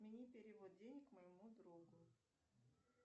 отмени перевод денег моему другу